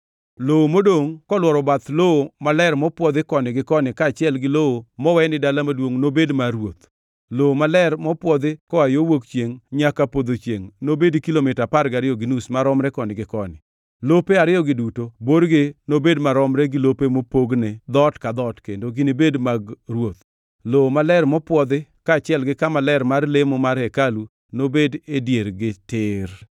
“Lowo modongʼ kolworo bath lowo maler mopwodhi koni gi koni kaachiel gi lowo mowe ni dala maduongʼ nobed mar ruoth. Lowo maler mopwodhi koa yo wuok chiengʼ nyaka podho chiengʼ nobedi kilomita apar gariyo gi nus maromre koni gi koni. Lope ariyogi duto borgi nobed maromre gi lope mopogne dhoot ka dhoot kendo ginibed mag ruoth. Lowo maler mopwodhi kaachiel gi kama ler mar lemo mar hekalu nobed e diergi tir.